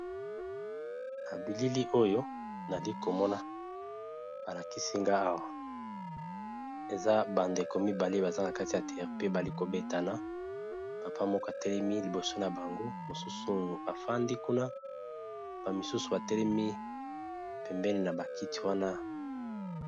babilili oyo nalikomona balakisinga or eza bandeko mibale baza na kati ya tre pe bali kobetana mapa moko atelemi liboso na bango mosusu oyo efandi kuna bamisusu batelemi pembeni na bakiti wana